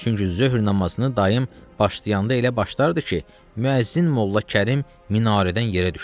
Çünki zöhr namazını dayım başlayanda elə başlardı ki, müəzzin Molla Kərim minarədən yerə düşsün.